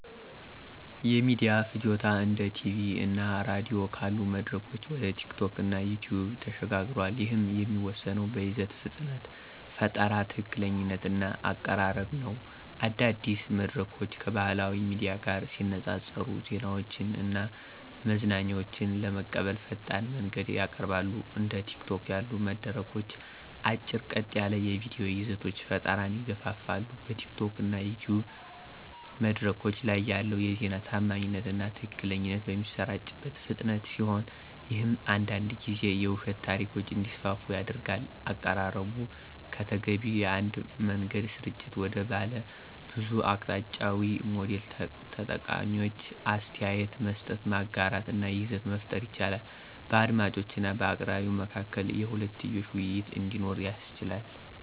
የሚዲያ ፍጆታ እንደ ቲቪ እና ራዲዮ ካሉ መድረኮች ወደ ቲኪቶክ እና ዩቲዩብ ተሸጋግሯል፤ ይህም የሚወሰነው በይዘቱ ፍጥነት፣ ፈጠራ፣ ትክክለኛነት እና አቀራረብ ነው። አዳዲስ መድረኮች ከባህላዊ ሚዲያ ጋር ሲነፃፀሩ ዜናዎችን እና መዝናኛዎችን ለመቀበል ፈጣን መንገድን ያቀርባሉ። እንደ ቲኪቶክ ያሉ መድረኮች አጭር፣ ቀጥ ያሉ የቪዲዮ ይዘቶች ፈጠራን ይገፋፋሉ። በቲኪቶክ እና ዩቲዩብ መድረኮች ላይ ያለው የዜና ታማኝነት እና ትክክለኛነት በሚሰራጭበት ፍጥነት ሲሆን ይህም አንዳንድ ጊዜ የውሸት ታሪኮች እንዲስፋፉ ያደርጋል። አቀራረቡ ከተገቢው የአንድ መንገድ ስርጭት ወደ ባለብዙ አቅጣጫዊ ሞዴል ተጠቃሚዎች አስተያየት መስጠት፣ ማጋራት እና ይዘት መፍጠር ይችላሉ። በአድማጮች እና በአቅራቢው መካከል የሁለትዮሽ ውይይት እንዲኖር ያስችላል።